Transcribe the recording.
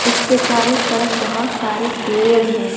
इसके चारों तरफ बहुत सारे पेड़ है।